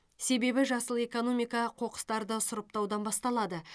себебі жасыл экономика қоқыстарды сұрыптаудан басталады